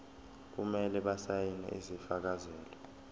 kumele basayine isifakazelo